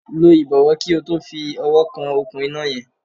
Lọ ìbọ̀wọ̀ kí o tó fi ọwọ́ kan òkun iná yẹn.